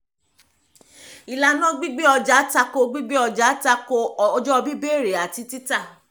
ìlànà gbígbé ọjà tako gbígbé ọjà tako ọjọ́ bíbẹ̀rẹ̀ àti títa